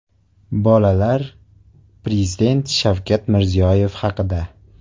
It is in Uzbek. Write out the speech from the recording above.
Bolalar Prezident Shavkat Mirziyoyev haqida .